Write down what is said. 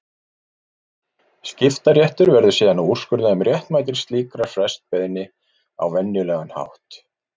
Skiptaréttur verður síðan að úrskurða um réttmæti slíkrar frestbeiðni á venjulegan hátt.